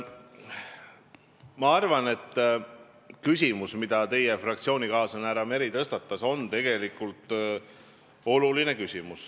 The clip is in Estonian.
Ma arvan, et küsimus, mille teie fraktsioonikaaslane härra Meri tõstatas, on oluline.